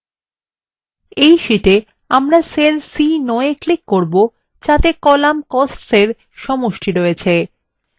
in শীটে আমরা cell c9 we click করব যাতে column costs in সমষ্টি রয়েছে